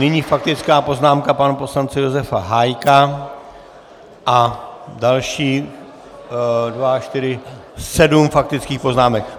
Nyní faktická poznámka pana poslance Josefa Hájka a dalších: dva, čtyři, sedm faktických poznámek.